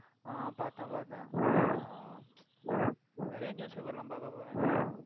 ஆஹ் பாத்தேன் பாத்தேன் ஆஹ் நிறைய newspaper லாம் பார்ப்பே போல நீ